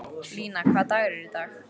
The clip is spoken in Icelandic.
Lína, hvaða dagur er í dag?